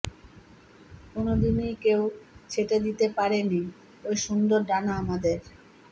কোনদিনই কেউ ছেটে দিতে পারে নি ওই সুন্দর ডানা আমাদের